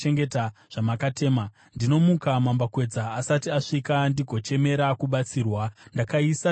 Ndinomuka mambakwedza asati asvika ndigochemera kubatsirwa; ndakaisa tariro yangu pashoko renyu.